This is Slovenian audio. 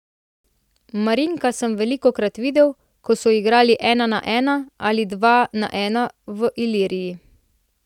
Marinka sem velikokrat videl, kako so igrali ena na ena ali dva na ena na Iliriji.